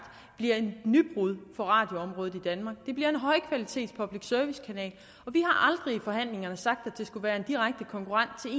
bliver et nybrud for radioområdet i danmark det bliver en højkvalitets public service kanal og vi har aldrig i forhandlingerne sagt at det skulle være en direkte konkurrent